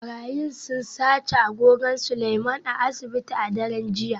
Barayin sun sace agogon Seleiman a asibiti a daren jiya